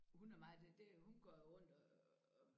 Hun er meget det det hun går rundt og